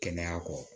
Kɛnɛya kɔ